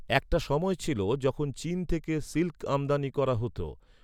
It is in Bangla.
একটা সময় ছিল, যখন চীন থেকে সিল্ক আমদানি করা হতো।